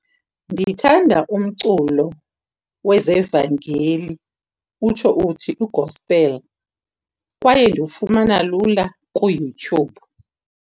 Ndithanda umculo wezevangeli utsho uthi kwi-gospel, kwaye ndiwufumana lula kuYouTube.